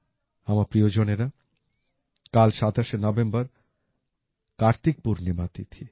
আমার প্রিয়জনেরা কাল ২৭ নভেম্বর কার্তিক পূর্ণিমা তিথি